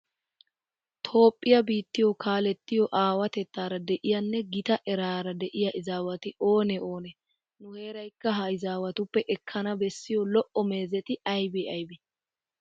Toophphiya biittiyo kaalettiyo aawatettaara de'iyanne gita eraara de'iya izaawati oonee oonee? Nu heeraykka ha izaawatuppe ekkana bessiya lo"o meezeti aybee aybee?